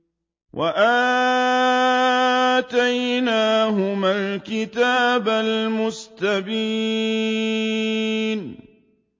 وَآتَيْنَاهُمَا الْكِتَابَ الْمُسْتَبِينَ